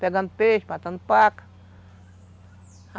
Pegando peixe, matando paca.